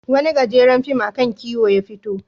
Wani gajeren fim a kan kiwo ya fito.